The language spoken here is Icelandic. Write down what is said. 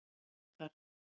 Vikar